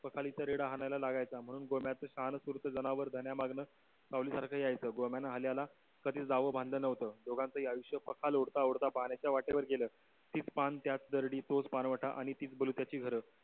पाखलीचा रेडा हाणायला लागायचा म्हणून गोम्यां शहाणकुर्त जनावर धण्यामाग सावली सारखं यायचं गोम्यान हल्याला कधीच जावं बांधलं नव्हतं. दोघांचेही आयुष्य पखाल ओढता ओढता पाण्याच्या ओठ्यावर गेलं. तीच पान त्याच दर्डी तोच पानवट आणि तीच बलुत्यची घरं.